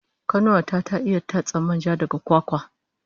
Kanuwa ta ta iya tatsar manja daga kwakwar